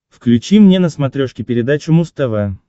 включи мне на смотрешке передачу муз тв